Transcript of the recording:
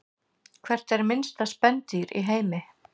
Hvert er minnsta spendýr í heimi?